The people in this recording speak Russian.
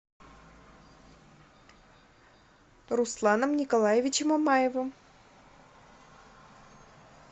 русланом николаевичем мамаевым